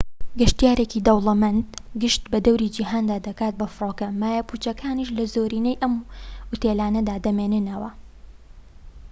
گەشتیارێکی دەوڵەمەند گەشت بە دەوری جیهاندا دەکات بە فڕۆکە مایە پوچەکانیش لە زۆرینەی ئەم ئوتێلانەدا دەمێننەوە